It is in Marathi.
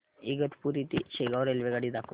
इगतपुरी ते शेगाव रेल्वेगाडी दाखव